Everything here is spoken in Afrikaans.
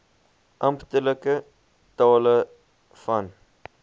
amptelike tale van